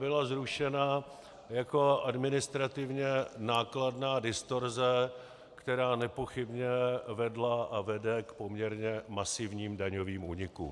Byla zrušena jako administrativně nákladná distorze, která nepochybně vedla a vede k poměrně masivním daňovým únikům.